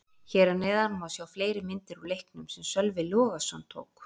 Hér að neðan má sjá fleiri myndir úr leiknum sem Sölvi Logason tók.